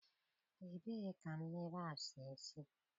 Ebee ka mmiri a si esi?